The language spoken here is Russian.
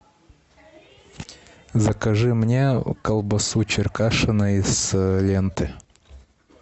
закажи мне колбасу черкашина из ленты